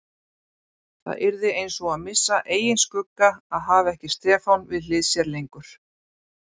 Það yrði einsog að missa eigin skugga að hafa ekki Stefán við hlið sér lengur.